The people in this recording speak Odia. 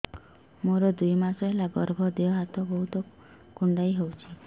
ମୋର ଦୁଇ ମାସ ହେଲା ଗର୍ଭ ଦେହ ହାତ ବହୁତ କୁଣ୍ଡାଇ ହଉଚି